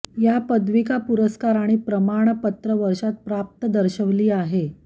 या पदविका पुरस्कार आणि प्रमाणपत्र वर्षांत प्राप्त दर्शविली आहे